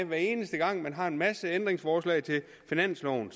hver eneste gang man har en masse ændringsforslag til finansloven